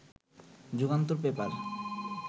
Jugantor paper